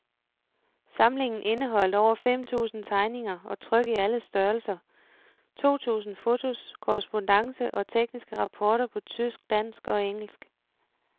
Samlingen indeholdt over fem tusind tegninger og tryk i alle størrelser, to tusind fotos, korrespondance og tekniske rapporter på tysk, dansk og engelsk.